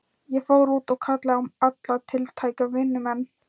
Ég fór út og kallaði á alla tiltæka vinnumenn.